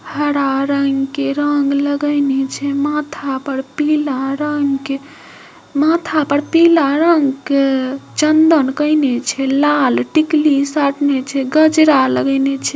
हरा रंग के रंग लगाने छै माथा पर पीला रंग माथा पर पिला रंग के चंदन केयने छै लाल टिकली साटने छै गजरा लगेने छै।